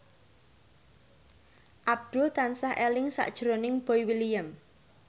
Abdul tansah eling sakjroning Boy William